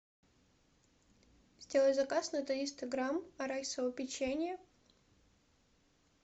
сделай заказ на триста грамм арахисового печенья